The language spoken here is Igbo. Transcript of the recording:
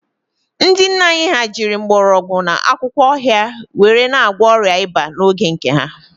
Ndị nna anyị ha jiri mgbọrọgwụ na akwụkwọ ọhịa were na-agwọ ọrịa ịba n'oge nke ha